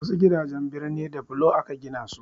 Wasu gidajen birni da bulo aka gina su.